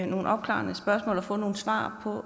nogle opklarende spørgsmål og få nogle svar på